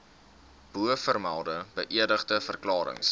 bovermelde beëdigde verklarings